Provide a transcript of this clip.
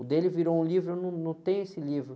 O dele virou um livro, eu num, não tenho esse livro.